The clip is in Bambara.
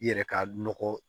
I yɛrɛ ka nɔgɔ